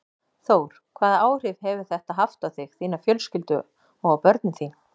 Þór: Hvaða áhrif hefur þetta haft á þig, þína fjölskyldu og á börnin þín?